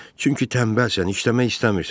Çünki tənbəlsən, işləmək istəmirsən.